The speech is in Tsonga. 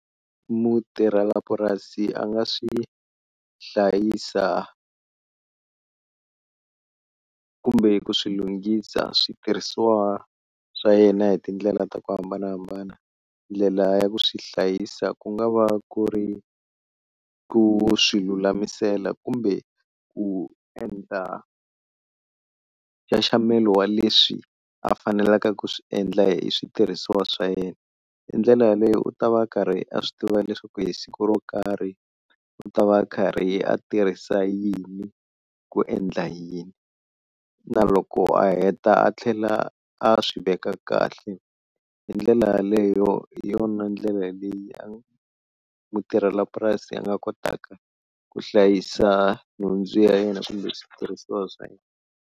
Mutirhela purasi a nga swi hlayisa kumbe ku swilunghisa switirhisiwa swa yena hi tindlela ta ku hambanahambana, ndlela ya ku swi hlayisa ku nga va ku ri ku swi lulamisela kumbe ku endla nxaxamelo wa leswi a fanelaka ku swi endla hi switirhisiwa swa yena, hi ndlela yaleyo u ta va a karhi a swi tiva leswaku hi siku ro karhi u ta va a karhi a tirhisa yini ku endla yini, na loko a heta a tlhela a swi veka kahle hi ndlela yaleyo hi yona ndlela leyi mutirhela purasi a nga kotaka ku hlayisa nhundzu ya yena kumbe switirhisiwa swa yena.